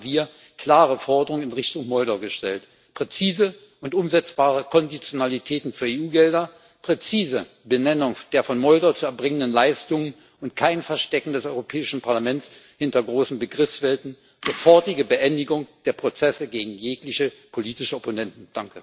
Deshalb haben wir klare Forderungen in Richtung Moldau gestellt präzise und umsetzbare Konditionalitäten für EU Gelder, präzise Benennung der von Moldau zu erbringenden Leistungen und kein Verstecken des Europäischen Parlaments hinter großen Begriffswelten, sofortige Beendigung der Prozesse gegen jegliche politische Opponenten.